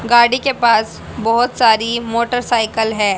गाड़ी के पास बहोत सारी मोटरसाइकल है।